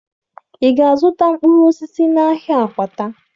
Ị ga-azụta mkpụrụ osisi n'ahịa Akwata?